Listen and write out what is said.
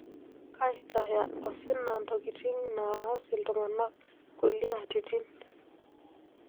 Kaitaya osina ntokitin naas iltung'ana kulie atitin.